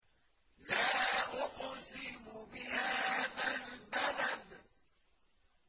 لَا أُقْسِمُ بِهَٰذَا الْبَلَدِ